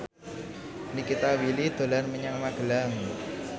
Nikita Willy dolan menyang Magelang